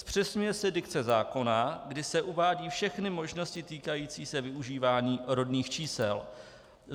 Zpřesňuje se dikce zákona, kde se uvádějí všechny možnosti týkající se využívání rodných čísel.